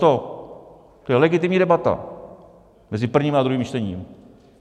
To je legitimní debata mezi prvním a druhým čtením.